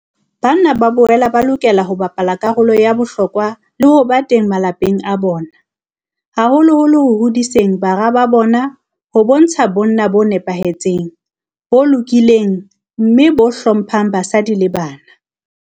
Banna ba boela ba lokela ho bapala karolo ya bohlokwa le ho ba teng malapeng a bona, haholoholo ho hodiseng bara ba bona ho bontsha bonna bo nepahetseng, bo lokileng mme bo hlo mphang basadi le bana.